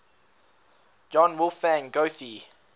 johann wolfgang goethe